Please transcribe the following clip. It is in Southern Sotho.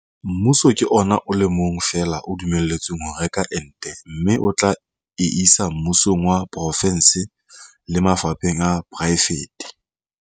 Mmuso ke ona o le mong fela o dumelletsweng ho reka ente mme o tla e isa mmusong wa porofense le mafapheng a poraefete.